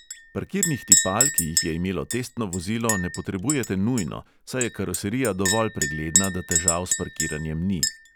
Parkirnih tipal, ki jih je imelo testno vozilo, ne potrebujete nujno, saj je karoserija dovolj pregledna, da težav s parkiranjem ni.